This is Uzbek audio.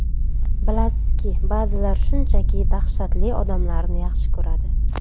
Bilasizki, ba’zilar shunchaki dahshatli odamlarni yaxshi ko‘radi.